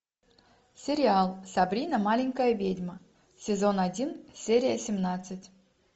сериал сабрина маленькая ведьма сезон один серия семнадцать